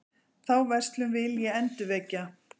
Þá verslun vil ég endurvekja.